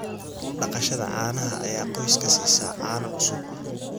Dhaqashada caanaha ayaa qoyska siisa caano cusub.